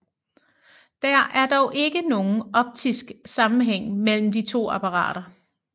Der er dog ikke nogen optisk sammenhæng mellem de to apparater